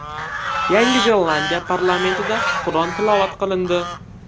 Yangi Zelandiya parlamentida Qur’on tilovat qilindi.